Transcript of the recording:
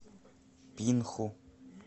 пинху